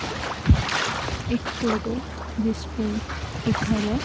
एक फोटो जिसमें लिखा है।